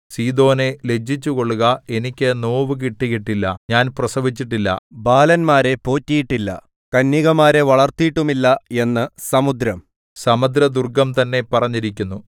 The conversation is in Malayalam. സീദോനേ ലജ്ജിച്ചുകൊള്ളുക എനിക്ക് നോവു കിട്ടിയിട്ടില്ല ഞാൻ പ്രസവിച്ചിട്ടില്ല ബാലന്മാരെ പോറ്റിയിട്ടില്ല കന്യകമാരെ വളർത്തിയിട്ടുമില്ല എന്നു സമുദ്രം സമുദ്രദുർഗ്ഗം തന്നെ പറഞ്ഞിരിക്കുന്നു